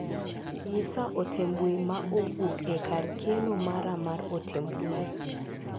Nyisa ote mbui ma owuok e kar keno mara mar ote mbui.